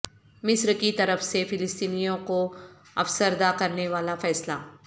مصر کی طرف سے فلسطینیوں کو افسردہ کرنے والا فیصلہ